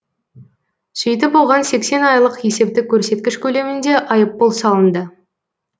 сөйтіп оған сексен айлық есептік көрсеткіш көлемінде айыппұл салынды